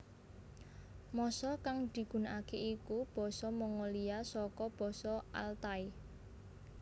Basa kang digunakake iku basa Mongolia saka basa Altai